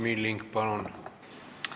Madis Milling, palun!